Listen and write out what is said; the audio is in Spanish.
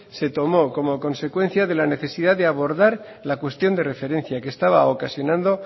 se tomó como consecuencia de la necesidad de abordar la cuestión de referencia que estaba ocasionando